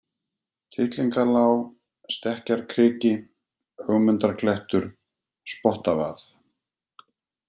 Tittlingalág, Stekkjarkriki, Ögmundarklettur, Spottavað